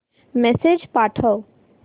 message पाठव